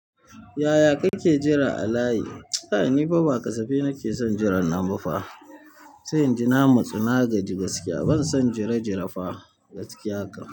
Yaya kake jira a layi? Kai nifa ba kasafi nake son jiran nan bafa. Sai inji na matsu nagaji gaskiya ban son jire jire fa gaskiya ka.